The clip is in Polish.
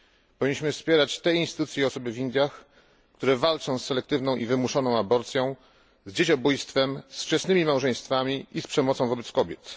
Powinniśmy wspierać te instytucje i osoby w Indiach, które walczą z selektywną i wymuszoną aborcją, z dzieciobójstwem, z wczesnymi małżeństwami i z przemocą wobec kobiet.